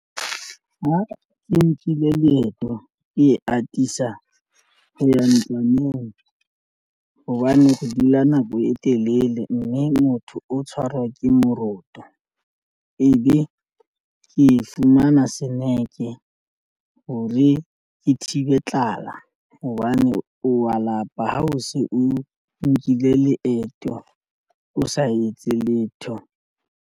Ha ke nkile leeto ke atisa ho ya ntlwaneng hobane ho dula nako e telele mme motho o tshwarwa ke moroto ebe ke fumana seneke hore ke thibe tlala hobane o wa lapa ha o se o nkile leeto o sa etse letho.